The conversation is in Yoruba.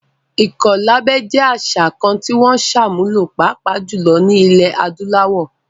Ìkọlábẹ jẹ́ àṣà kan tí wọ́n ń sàmúlò, pàápàá jùlọ ní ilẹ̀ adúláwò